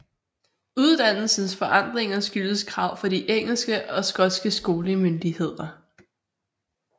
Uddannelsens forandringer skyldtes krav fra de engelske og skotske skolemyndigheder